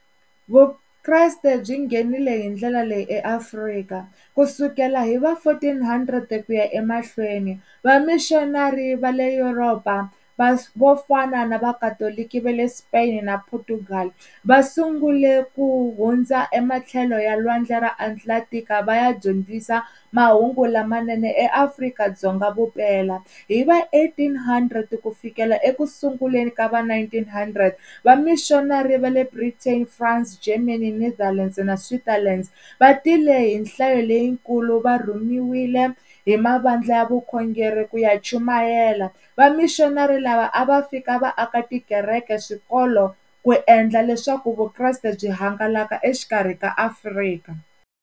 Vukreste byi nghenile hi ndlela leyi eAfrika kusukela hi va fourteen hundred ku ya emahlweni va-missionary va le Europe-a va vo fana na vakatoloki va le Spain na Portugal va sungule ku hundza ematlhelo ya lwandle ra Atlantic-a va ya dyondzisa mahungu lamanene eAfrika-Dzonga vupela hi va eighteen hundred ku fikela ekusunguleni ka va nineteen hundred va-missionary va le Britain, France, Germany, Netherland na Switzerland va tile hi nhlayo leyikulu va rhumiwile hi mavandla ya vukhongeri ku ya chumayela va-missionary lava a va fika va aka tikereke, swikolo ku endla leswaku Vukreste byi hangalaka exikarhi ka Afrika.